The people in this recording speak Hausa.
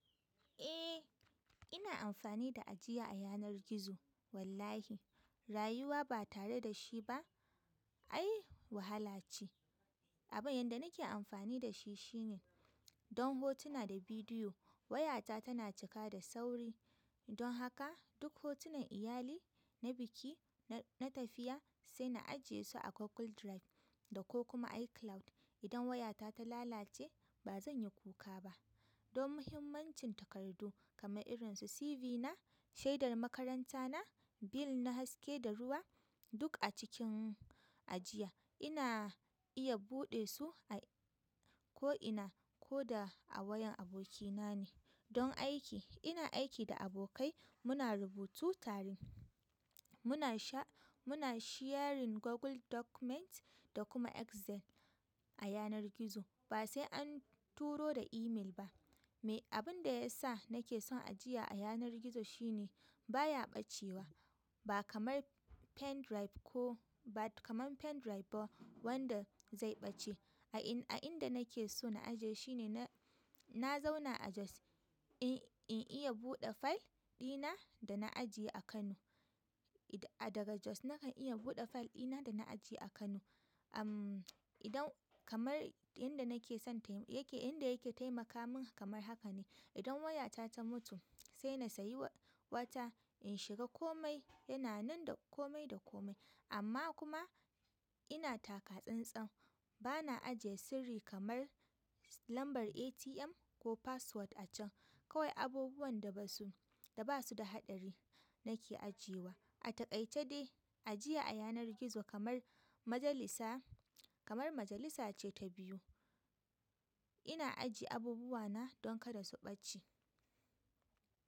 Eh ina amfani da ajiya a yanar gizo. Wallahi rayuwa ba tare da shi ba ai wahala ce. Abin yanda nake amfani da shi shine don hotuna da bidiyo wayata tana cika da sauri. Don haka duk hotunan iyali, na biki, na tafiya sai na ajiye su a Google Drive da ko kuma iCloud. Idan wayata ta lalace ba zan yi kuka ba. Don muhimmancin takardu kamar irin su CV na, shaidar makaranta na, bill na haske da ruwa duk a cikin ajiya ina iya buɗe su a ko ina ko da a wayan abokina ne. Don aiki ina aiki da abokai muna rubutu tare muna sharing Google Document da kuma Excel a yanar gizo ba sai an turo da email ba. Me abin da ya sa nake son ajiya a yanar gizo shine baya ɓacewa ba kamar pen drive ko ba kamar pen drive ba wanda zai ɓace. A inda nake so na ajiye shine na zauna a Jos in iya buɗe file ɗina da na ajiye a Kano. Daga Jos nakan iya buɗe file ɗina da na ajiye a Kano. Idan kamar inda yake taimaka mini kamar hakane in wayata ta mutu sai na saye wata in shiga komai yana nan da komai da komai amma kuma ina taka tsantsan bana ajiye sirri kamar lambar ATM ko password a can. Kawai abubuwan da basu da haɗari nake ajiyewa. A taƙaice dai ajiya a yanar gizo kamar majalisa ce ta biyu. Ina ajiye abubuwana don kada su ɓace.